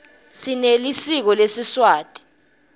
sinelisiko lesiswati